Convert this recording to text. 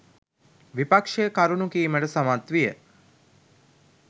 විපක්‍ෂය කරුණු කීමට සමත් විය.